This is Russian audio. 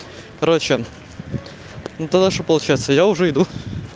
короче ну тогда что получается я уже иду